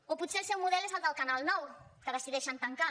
o potser el seu model és el del canal nou que decideixen tancar